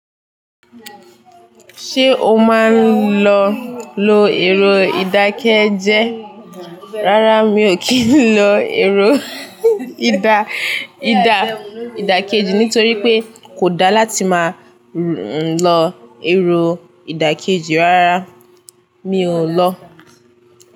Ṣé o máa ń lọ lo èrò ìdákẹ́jẹ? Rárá mi ò kí ń lọ èrò ìdà ìdà ìdákẹ́jì nítorí pé kò da láti máa lọ èrò ìdákẹ́jì. Rárá mi ò lọ.